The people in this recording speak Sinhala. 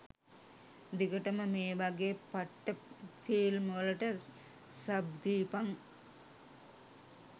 දිගටම මේවගේ පට්ට ෆිල්ම්වලට සබ් දීපන්.